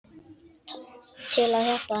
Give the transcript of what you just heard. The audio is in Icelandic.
Til að hjálpa henni.